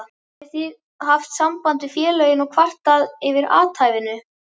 Hafið þið haft samband við félögin og kvartað yfir athæfinu?